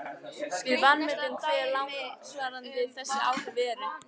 Við vanmetum hve langvarandi þessi áhrif eru.